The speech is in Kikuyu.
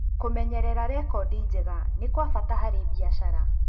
Kũmenyerera rekodi njega nĩ kwa bata harĩ biacara.